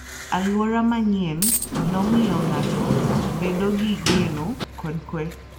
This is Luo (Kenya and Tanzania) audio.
Alwora manyienno miyo ng'ato bedo gi geno kod kuwe.